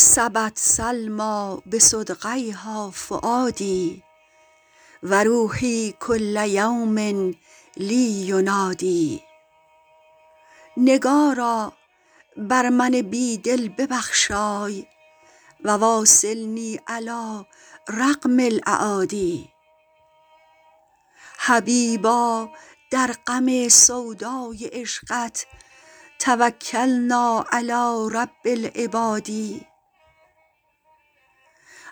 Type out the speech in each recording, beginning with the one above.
سبت سلمیٰ بصدغیها فؤادي و روحي کل یوم لي ینادی نگارا بر من بی دل ببخشای و واصلني علی رغم الأعادي حبیبا در غم سودای عشقت توکلنا علی رب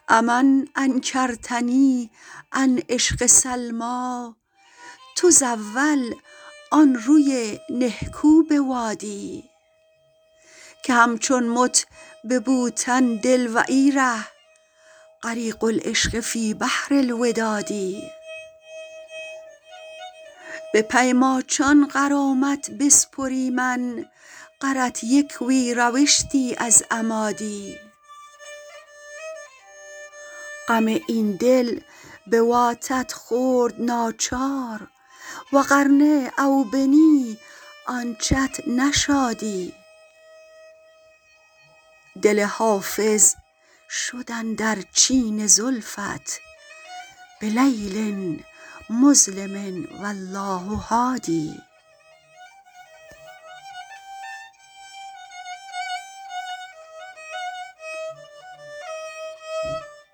العباد أ من انکرتني عن عشق سلمیٰ تزاول آن روی نهکو بوادی که همچون مت به بوتن دل و ای ره غریق العشق فی بحر الوداد به پی ماچان غرامت بسپریمن غرت یک وی روشتی از اما دی غم این دل بواتت خورد ناچار و غر نه او بنی آنچت نشادی دل حافظ شد اندر چین زلفت بلیل مظلم و الله هادی